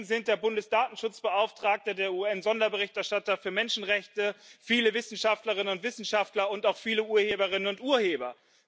Dagegen sind der Bundesdatenschutzbeauftragte, der UN Sonderberichterstatter für Menschenrechte, viele Wissenschaftlerinnen und Wissenschaftler und auch viele Urheberinnen und Urheber.